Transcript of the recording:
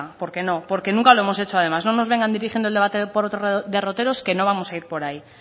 porque no porque nunca lo hemos hecho además no nos vengan dirigiendo el debate por otros derroteros que no vamos a ir por ahí